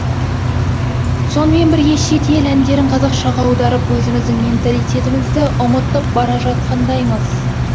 сонымен бірге шет ел әндерін қазақшаға аударып өзіміздің менталитетімізді ұмытып бара жатқандаймыз